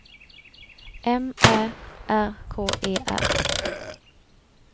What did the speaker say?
M Ä R K E R